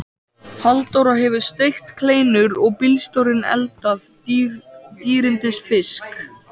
Halldóra hefur steikt kleinur og bílstjórinn eldað dýrindis fisk.